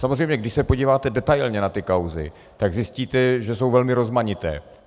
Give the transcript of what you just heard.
Samozřejmě když se podíváte detailně na ty kauzy, tak zjistíte, že jsou velmi rozmanité.